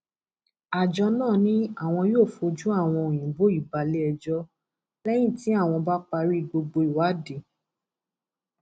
àjọ náà ni àwọn yóò fojú àwọn òyìnbó yìí balẹẹjọ lẹyìn tí àwọn bá parí gbogbo ìwádìí